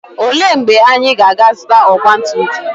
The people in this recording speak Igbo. Olee mgbe anyị ga-azụta ọgba tum tum?